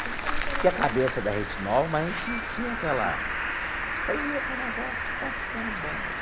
Super interessante. Tinha a cabeça da Rede Nova, mas a gente tinha aquela... Falei, ih o negócio está ficando bom.